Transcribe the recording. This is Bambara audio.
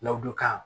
Ladonka